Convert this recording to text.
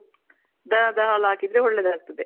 The ದ ಹಾಲ್ ಹಾಕದ್ರೆ ಒಳ್ಳೇದ್ ಆಗ್ತದೆ.